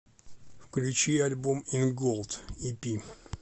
включи альбом ин голд ипи